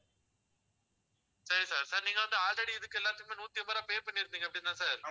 சரி sir sir நீங்க வந்து already இதுக்கு எல்லாத்துக்குமே நூத்தி அம்பது ரூபாய் pay பண்ணிருப்பீங்க அப்படிதான sir